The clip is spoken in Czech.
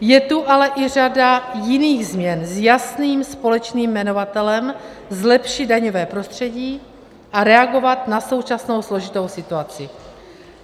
Je tu ale i řada jiných změn s jasným společným jmenovatelem, zlepšit daňové prostředí a reagovat na současnou složitou situaci.